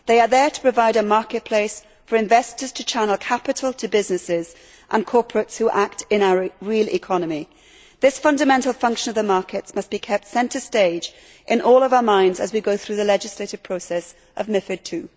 They are there to provide a market place for investors to channel capital to businesses and corporates who act in our real economy. This fundamental function of the markets must be kept centre stage in all of our minds as we go through the legislative process of MiFID II.